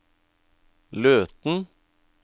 Løten